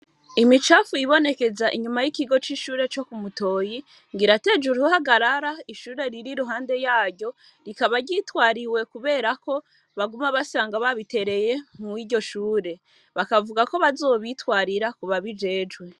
Imicafu yibonekeza inyuma y'ikigo c'ishure co ku Mutoyi, ngo irateje uruhagarara ishure riri iruhande yaryo, rikaba ryitwariwe kuberako baguma basanga babitereye mw'iryo shure. Bakavuga ko bazobitwarira kubabijejwe.